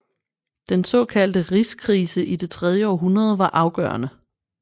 Den såkaldte rigskrise i det tredje århundrede var afgørende